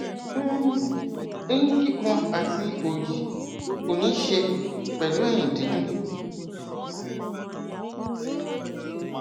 um eyín kíkan àti òòyì kò níí ṣe pẹlú eyín dídùn